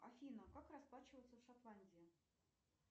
афина как расплачиваться в шотландии